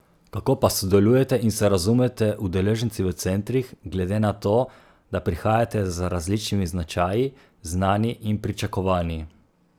Kako pa sodelujete in se razumete udeleženci v centrih, glede na to, da prihajate z različnimi značaji, znanji in pričakovanji?